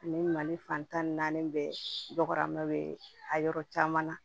Ni mali fan tan ni naani bɛɛ dɔgɔyara ma bɛ a yɔrɔ caman na